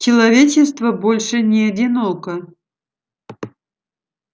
человечество больше не одиноко